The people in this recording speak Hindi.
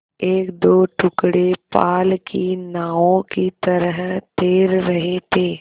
एकदो टुकड़े पाल की नावों की तरह तैर रहे थे